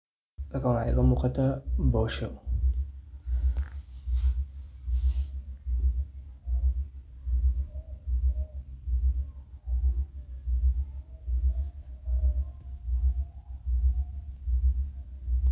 Halkan waxaa iiga muuqataa boosho.